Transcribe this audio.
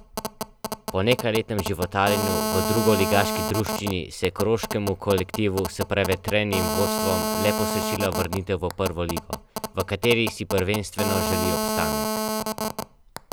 Po nekajletnem životarjenju v drugoligaški druščini se je koroškemu kolektivu s prevetrenim vodstvom le posrečila vrnitev v prvo ligo, v kateri si prvenstveno želi obstanek.